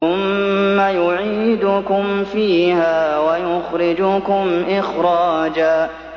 ثُمَّ يُعِيدُكُمْ فِيهَا وَيُخْرِجُكُمْ إِخْرَاجًا